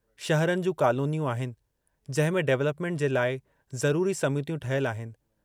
शहरनि जूं कालोनियूं आहिनि जंहिंमे डवलपमेंट जे लाइ जरूरी समितियूं ठहियल आहिनि।